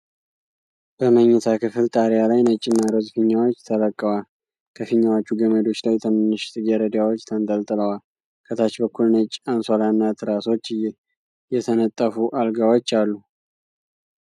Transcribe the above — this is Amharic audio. በመኝታ ክፍል ጣሪያ ላይ ነጭና ሮዝ ፊኛዎች ተለቀዋል። ከፊኛዎቹ ገመዶች ላይ ትንንሽ ጽጌረዳዎች ተንጠልጥለዋል፤ ከታች በኩል ነጭ አንሶላና ትራሶች የተነጠፉ አልጋዎች አሉ።